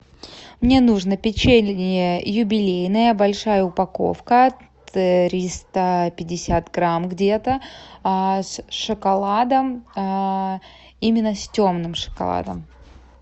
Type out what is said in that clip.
мне нужно печенье юбилейное большая упаковка триста пятьдесят грамм где то с шоколадом именно с темным шоколадом